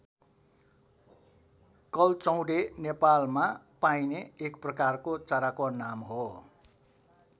कल्चौंडे नेपालमा पाइने एक प्रकारको चराको नाम हो।